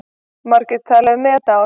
Margir tala um met ár.